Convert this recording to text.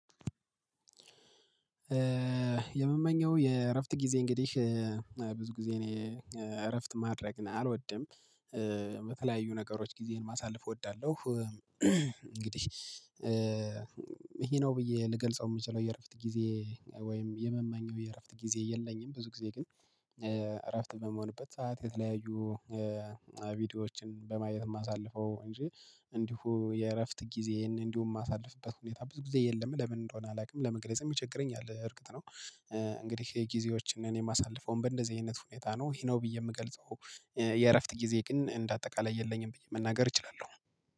የምመኘው የእረፍት ጊዜ እንግዲህ ብዙ ጊዜ እኔ እረፍት ማድረግ አልወድም በተለያዩ ነገሮች ጊዜን ማሳለፍ እወዳለሁ። እንግዲህ ይሄ ነው ብዬ ልገልጸው የምችለው የእረፍት ጊዜ። ወይም የመማኘው የእረፍት ጊዜ የለኝም ብዙ ጊዜ ግን። እረፍት በመሆንበት ሰዓት የተለያዩ ቪዲዮዎችን በማየት የማሳልፈው እንጂ እንዲሁ የእረፍት ጊዜ እንዲሁ የማሳልፍበት ሁኔታ ብዙ ጊዜ የለም። ለምን እንደሆነ አላውቅም ለመግለጽም ይቸግረኛል። እርግጥ ነው። እንግዲህ የጊዜዎችን እኔ የማሳልፈውም በእንደዚህ አይነት ሁኔታ ነው ይሄ ነው ብዬ የምገልጸው። የእረፍት ጊዜ ግን እንደ አጠቃላይ የለኝም ብዬ መናገር እችላለሁ።